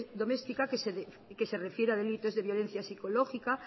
doméstica que se refiere a delitos de violencia psicológica